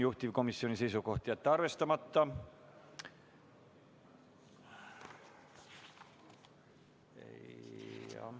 Juhtivkomisjoni seisukoht on jätta see arvestamata.